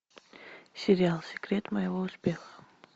сериал секрет моего успеха